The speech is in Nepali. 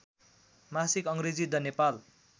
मासिक अङ्ग्रेजी द नेपाल